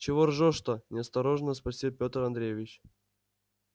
чего ржешь-то настороженно спросил петр андреевич